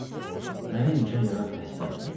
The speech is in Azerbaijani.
Mənə imkan yarat təhsil alım, Emili.